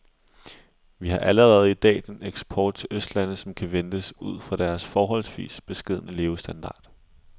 Vi har allerede i dag den eksport til østlandene, som kan ventes ud fra deres forholdsvis beskedne levestandard.